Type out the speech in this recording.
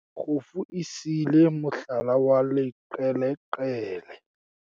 kgofu e siile mohlala wa leqeleqele